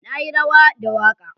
Na yi rawa da waka.